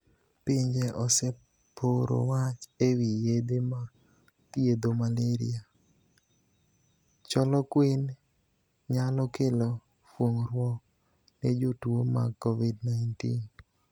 Pinje ose poro wach e wi yedhe ma dhiedho malaria , choloquine nyalo kelo fuongruok nejotwo mag kovid 19.